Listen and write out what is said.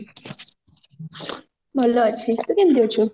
ଭଲ ଅଛି ତୁ କେମତି ଅଛୁ